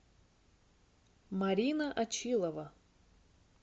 марина очилова